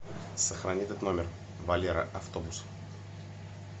сохрани этот номер валера автобус